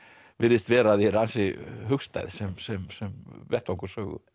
virðist vera þér ansi hugstæð sem sem sem vettvangur sögu